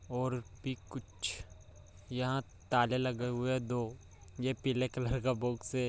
और भी कुछ यहां ताले लगे हुए दो ये पीले कलर का बॉक्स हैं।